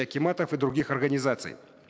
акиматов и других организаций